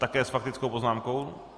Také s faktickou poznámkou?